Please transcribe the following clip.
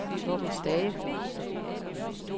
Torben Stage